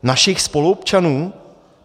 Našich spoluobčanů?